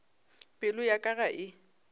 pelo ya ka ga e